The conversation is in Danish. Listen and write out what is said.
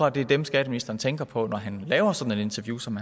at det er dem skatteministeren tænker på når han laver sådan et interview som